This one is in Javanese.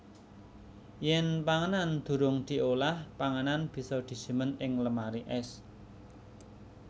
Yèn panganan durung diolah panganan bisa disimpen ing lemari ès